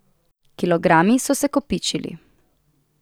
Kilogrami so se kopičili.